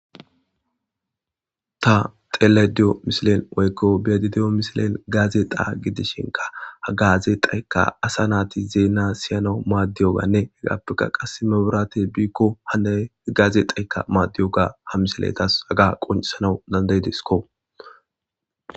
Ta xeladiyo misilen woykko biyadidiyo misilen gaaze qaa gidishinka hagaaze xaykka asa naati zeena siyano maaddiyoganne hegappeka qase maburate biikko hana gaaze xayka maaddiyoga ha misiletas haga quncsanau dandayidisko.